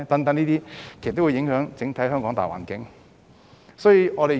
這些都會影響香港整體大環境。